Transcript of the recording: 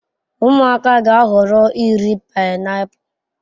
Ụmụaka ga-ahọrọ iri painiapulu.